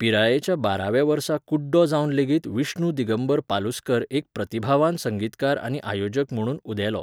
पिरायेच्या बाराव्या वर्सा कुड्डो जावन लेगीत विष्णु दिगंबर पालुस्कर एक प्रतिभावान संगीतकार आनी आयोजक म्हणून उदेलो.